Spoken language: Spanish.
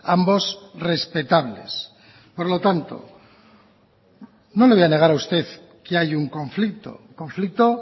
ambos respetables por lo tanto no le voy a negar a usted que hay un conflicto conflicto